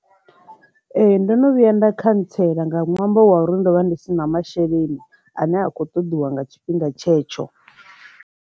Ee, ndono vhuya nda khantseḽa nga ṅwambo wa uri ndo vha ndi si na masheleni ane a kho ṱoḓiwa nga tshifhinga tshetsho.